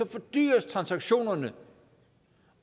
fordyres transaktionerne